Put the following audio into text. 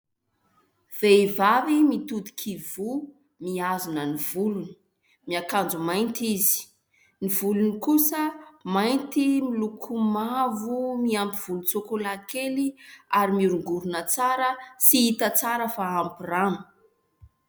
Vehivavy mitodika ivoho, mihazona ny volony, miakanjo mainty izy. Ny volony kosa mainty miloko mavo miampy volontsôkôlà kely ary mihorongorona tsara sy hita tsara fa ampy rano.